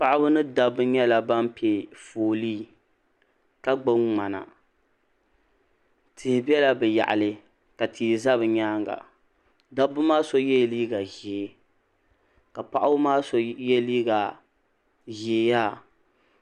Paɣiba ni dabba nyɛla ban pe foolii ka gbubi ŋmana tihi bela bɛ yaɣili ka tia za bɛ nyaaŋa dabba maa so yela liiga ʒee ka paɣiba maa so ye liiga ʒee yaha.